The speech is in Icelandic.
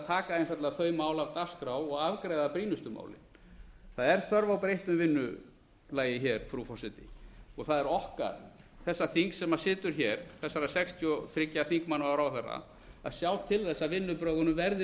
taka einfaldlega þau mál af dagskrá og afgreiða brýnustu málin það er þörf á breyttu vinnulagi frú forseti og það er okkar þessa þings sem situr hér þessara sextíu og þriggja þingmanna og ráðherra að sjá til þess að vinnubrögðunum verði